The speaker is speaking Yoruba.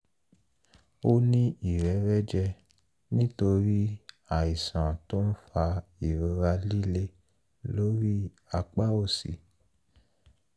ó ní ìrẹrẹ́jẹ nítorí àìsàn tó ń fa ìrora líle lórí apá òsì